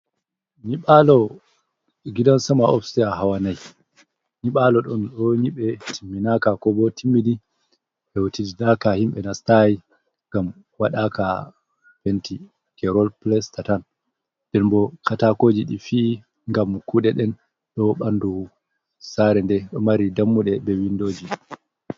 Nyiɓalo gidan sama ofstai hawa nai, nyiɓalo ɗon ɗo nyiɓe timminaka ko bo timmidi hewtidinaka himɓɓe nastayi ngam waɗaka penti, kerol plasta tan den bo katakoji ɗi fiyi ngam kuɗe ɗen, ɗo ɓanɗu sare nde mari dammuɗe be windoji.